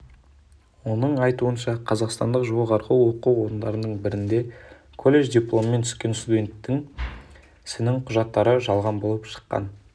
оның айтуынша қазақсатндық жоғарғы оқу орындарының бірінде колледж дипломымен түскен студенттің сінің құжаттары жалған болып шыққан